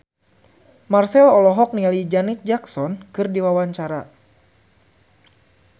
Marchell olohok ningali Janet Jackson keur diwawancara